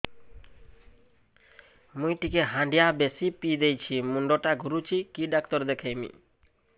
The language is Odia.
ମୁଇ ଟିକେ ହାଣ୍ଡିଆ ବେଶି ପିଇ ଦେଇଛି ମୁଣ୍ଡ ଟା ଘୁରୁଚି କି ଡାକ୍ତର ଦେଖେଇମି